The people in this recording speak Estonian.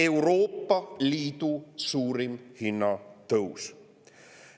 Euroopa Liidu suurim hinnatõus!